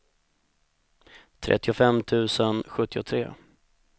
trettiofem tusen sjuttiotre